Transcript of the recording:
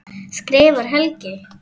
skrifar Helgi.